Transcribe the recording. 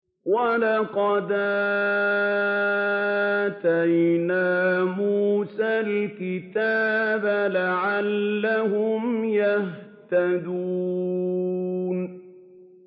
وَلَقَدْ آتَيْنَا مُوسَى الْكِتَابَ لَعَلَّهُمْ يَهْتَدُونَ